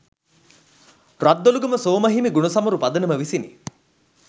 රද්දොළුගම සෝම හිමි ගුණසමරු පදනම විසිනි.